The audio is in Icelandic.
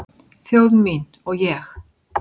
Þjóð mín og ég